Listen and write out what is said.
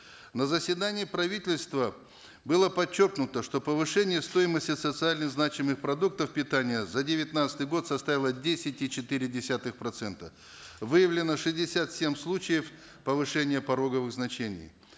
на заседании правительства было подчеркнуто что повышение стоимости социально значимых продуктов питания за девятнадцатый год составило десять и четыре десятых процента выявлено шестьдесят семь случаев повышения пороговых значений